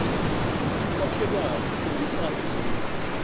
umakhelwani uthengisa izindlu